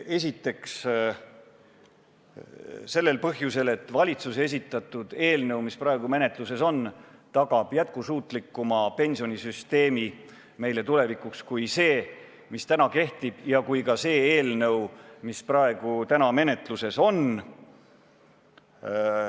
Esimeseks põhjuseks on see, et valitsuse esitatud eelnõu, mis praegu on menetluses, tagab meile tulevikuks jätkusuutlikuma pensionisüsteemi kui see, mis täna kehtib, ja ka see, mida praegune, täna menetluses olev eelnõu võimaldab.